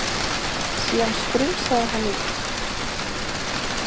Síðan strunsaði hann út.